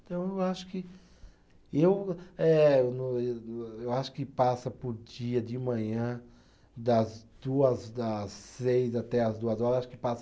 Então, eu não acho que eu eh, eu não, eu acho que passa por dia de manhã, das duas, das seis até as duas horas, acho que passa